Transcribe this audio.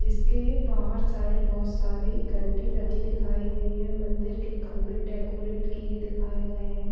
जिसके बाहर साइड बहोत सारी घंटी लगी दिखाई गई है मंदिर के खंभे डेकोरेट किए दिखाए गए हैं।